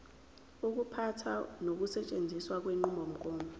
ukuphatha nokusetshenziswa kwenqubomgomo